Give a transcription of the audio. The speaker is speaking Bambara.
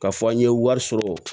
K'a fɔ an ye wari sɔrɔ